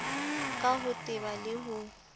ka ho teba le ho